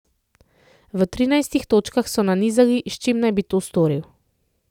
V trinajstih točkah so nanizali, s čim naj bi to storil.